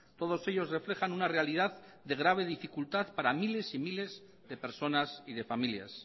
todos ellos reflejan una realidad de grave dificultad para miles y miles de personas y de familias